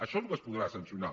això és el que es podrà sancionar